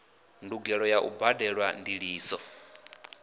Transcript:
ndugelo ya u badelwa ndiliso